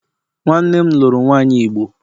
Nwannem luru nwanyi igbo